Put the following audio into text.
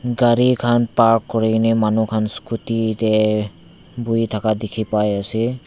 gari khan park kuri ke ni manu khan scooty teh bohi thaka dikhi pai ase.